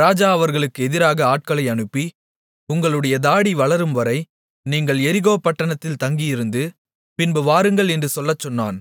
ராஜா அவர்களுக்கு எதிராக ஆட்களை அனுப்பி உங்களுடைய தாடி வளரும்வரை நீங்கள் எரிகோ பட்டணத்தில் தங்கி இருந்து பின்பு வாருங்கள் என்று சொல்லச் சொன்னான்